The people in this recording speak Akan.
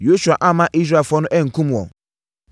Yosua amma Israelfoɔ no ankum wɔn.